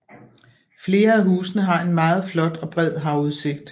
Flere af husene har en meget flot og bred havudsigt